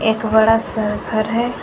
एक बड़ा सा घर है।